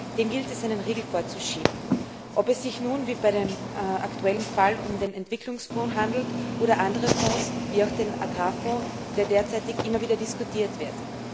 Dem gilt es einen Riegel vorzuschieben, ob es sich nun wie bei dem aktuellen Fall um den Entwicklungsfonds handelt oder andere Fonds, wie auch den Agrarfonds, der derzeitig immer wieder diskutiert wird.